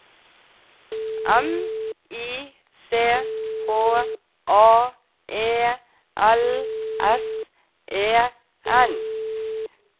M I C H A E L S E N